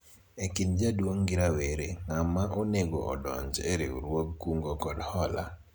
e kind jaduong' gi rawera ,ng'ama onego odonji e riwruog kungo kod hola ?